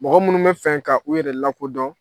Mɔgɔ munnu bɛ fɛ ka u yɛrɛ lakodɔn